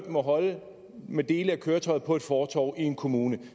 må holde med dele af køretøjer på et fortov i en kommune